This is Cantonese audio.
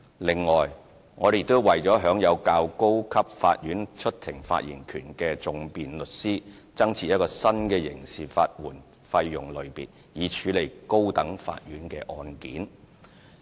此外，我們亦為享有較高級法院出庭發言權的訟辯律師，增設一個新的刑事法援費用類別，以處理高等法院的案件。